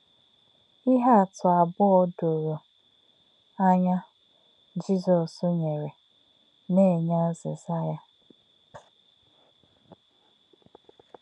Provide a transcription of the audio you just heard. Íhè̄ àtụ̀ àbọ̀̄ụ̣ dòrò̄ ànyá̄ Jizọ́s nyèrè̄ nā̄-ènyè̄ àzị̀zà̄ yá̄.